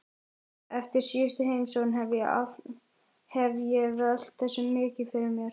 Eftir síðustu heimsókn hef ég velt þessu mikið fyrir mér.